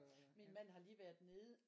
Min mand har lige været nede